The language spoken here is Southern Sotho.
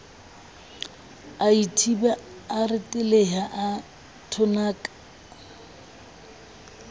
aithiba a reteleha a thonaka